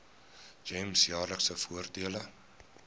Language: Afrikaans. gems jaarlikse voordele